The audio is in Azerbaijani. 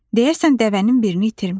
Deyəsən, dəvənin birini itirmişəm.